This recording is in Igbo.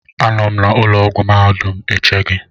Anọ m na ụlọ ọgwụ mahadum eche gị